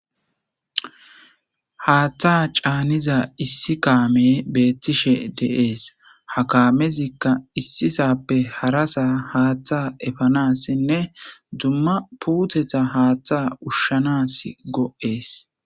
Haaththa caaniza issi kaame beettishe deees ha kaamezikka issisappe harasa haaththa efanassinne dumma puuteta haaththa ushshanas go7ees.